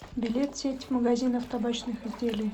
билет сеть магазинов табачных изделий